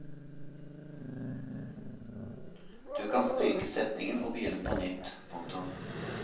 Du kan stryke setningen og begynne på nytt. punktum